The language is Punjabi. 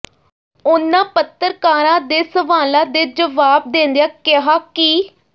ਉਨ੍ਹਾਂ ਪੱਤਰਕਾਰਾਂ ਦੇ ਸਵਾਲਾਂ ਦੇ ਜਵਾਬ ਦਿੰਦਿਆ ਕਿਹਾ ਕਿ